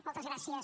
moltes gràcies